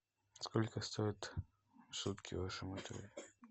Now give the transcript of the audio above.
сколько стоят сутки в вашем отеле